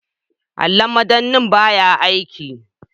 Allon madannai baya aiki.